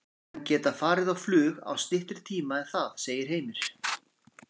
Menn geta farið á flug á styttri tíma en það, segir Heimir.